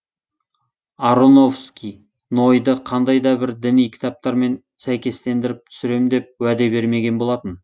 аронофски нойды қандай да бір діни кітаптармен сәйкестендіріп түсірем деп уәде бермеген болатын